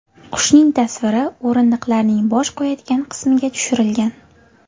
Qushning tasviri o‘rindiqlarning bosh qo‘yadigan qismiga tushirilgan.